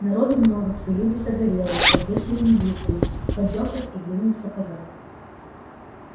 народу много все люди загорелые с обветренными лицами в поддёвках и длинных сапогах